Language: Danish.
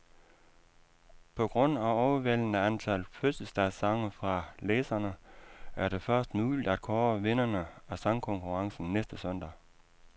På grund af overvældende antal fødselsdagssange fra læserne, er det først muligt at kåre vinderne af sangkonkurrencen næste søndag.